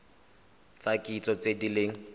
tsa kitso tse di leng